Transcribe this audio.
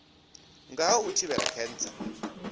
nga ha u thivhela khentsa